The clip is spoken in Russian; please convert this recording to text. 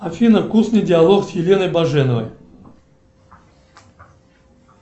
афина вкусный диалог с еленой баженовой